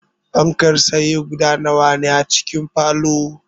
Fankar tsaye guda nawa ne a cikin falow?